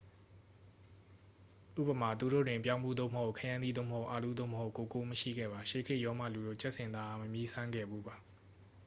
ဥပမာ သူတို့တွင် ပြောင်းဖူး သို့မဟုတ် ခရမ်းသီး သို့မဟုတ် အာလူး သို့မဟုတ် ကိုကိုး မရှိခဲ့ပါ ရှေးခေတ်ရောမလူတို့ ကြက်ဆင်သားအား မမြည်းစမ်းခဲ့ဖူးပါ